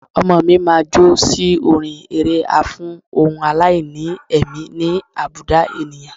Ọmọọ̀ mi máa jó sí orin eré a fún ohun aláìní ẹ̀mí ní àbùdá ènìyàn.